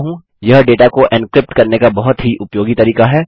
यह डेटा को एन्क्रिप्ट करने का बहुत ही उपयोगी तरीका है